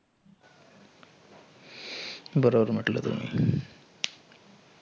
बरोबर म्हटलं तुमी.